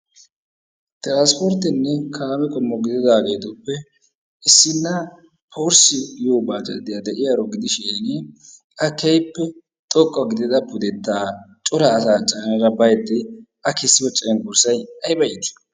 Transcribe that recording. Tiransporttenne kaame qoommo gididaagetuppe issina porse giyoo bajajiyaa de'iyaaro gidishiin a keehippe xoqqa gidida pudettaa cora asaa caanada baydde a keessiyoo cenggurssay ayba iitii!